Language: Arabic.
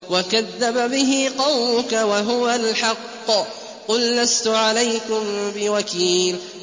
وَكَذَّبَ بِهِ قَوْمُكَ وَهُوَ الْحَقُّ ۚ قُل لَّسْتُ عَلَيْكُم بِوَكِيلٍ